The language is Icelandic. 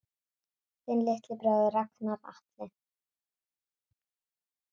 Þinn litli bróðir, Ragnar Atli.